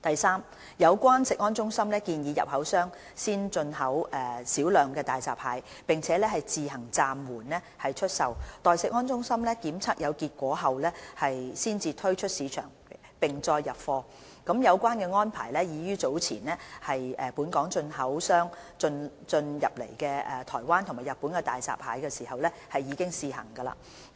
三就有關食安中心建議進口商先入口少量大閘蟹，並自行暫緩出售，待食安中心檢測有結果後才推出市場並再入貨，有關安排已於早前本港進口商入口來自台灣及日本的大閘蟹時試行。